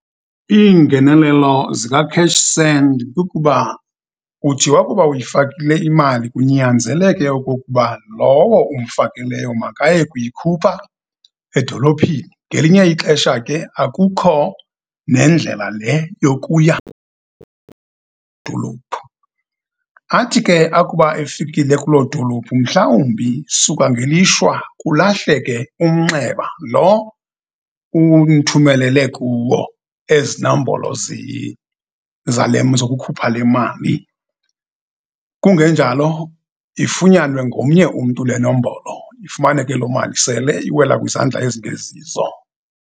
Iingenenelo zikaCashSend kukuba uthi wakuba uyifakile imali kunyanzeleke okokuba lowo umfakileyo makaye kuyikhupha edolophini. Ngelinye ixesha ke akukho nendlela le yokuya dolophu. Athi ke akuba efikile kuloo dolophu, mhlawumbi suka ngelishwa kulahleke umnxeba lo umthumelele kuwo ezi nombolo zale zokukhupha le mali. Kungenjalo, ifunyanwe ngomnye umntu le nombolo, ifumaneke lo mali sele iwela kwizandla ezingezizo.